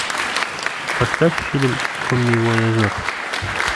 поставь фильм коммивояжер